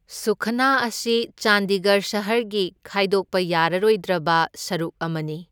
ꯁꯨꯈꯅꯥ ꯑꯁꯤ ꯆꯥꯟꯗꯤꯒꯔ ꯁꯍꯔꯒꯤ ꯈꯥꯏꯗꯣꯛꯄ ꯌꯥꯔꯔꯣꯏꯗ꯭ꯔꯕ ꯁꯔꯨꯛ ꯑꯃꯅꯤ꯫